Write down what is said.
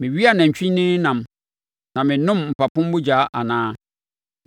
Mewe anantwinini nam, na menom mpapo mogya anaa?